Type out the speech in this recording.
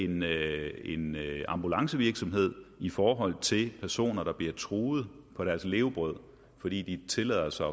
med en ambulancevirksomhed i forhold til de personer der bliver truet på deres levebrød fordi de tillader sig